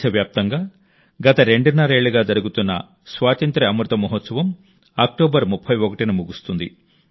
దేశవ్యాప్తంగా గత రెండున్నరేళ్లుగా జరుగుతున్న స్వాతంత్య్ర అమృత మహోత్సవం అక్టోబర్ 31న ముగుస్తుంది